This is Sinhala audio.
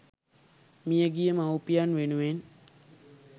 මියගිය මවුපියන් වෙනුවෙන්